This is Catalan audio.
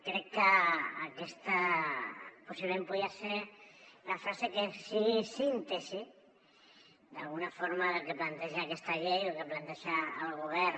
crec que aquesta possiblement podria ser la frase que sigui síntesi d’alguna forma del que planteja aquesta llei o del que planteja el govern